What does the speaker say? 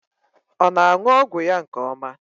Ọ na-aṅụ ọgwụ ya nke ọma?